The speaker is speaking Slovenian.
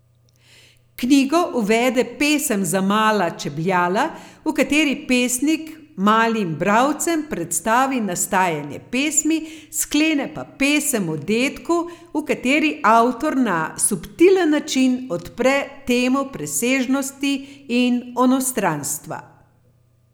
Knjigo uvede Pesem za mala čebljala, v kateri pesnik malim bralcem predstavi nastajanje pesmi, sklene pa pesem o dedku, v kateri avtor na subtilen način odpre temo presežnosti in onostranstva.